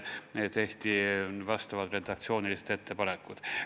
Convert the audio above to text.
Nii et tehti vastavad redaktsioonilised ettepanekud.